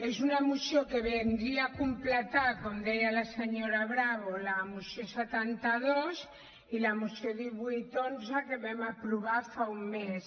és una moció que vindria a completar com deia la senyora bravo la moció setanta dos i la moció divuit xi que vam aprovar fa un mes